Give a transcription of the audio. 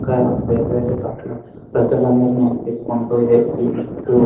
ఇంకా వేరే వేరే చోట్ల ప్రజలందరనీ ఎక్కించుకుంటూ